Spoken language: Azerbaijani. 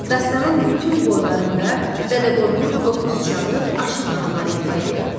Dastanın bütün boylarında Dədə Qorqud qopuz çalıb, aşıq mahnıları ifadə eləyir.